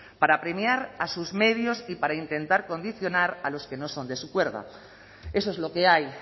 para premiar a sus medios y para intentar condicionar a los que no son de su cuerda eso es lo que hay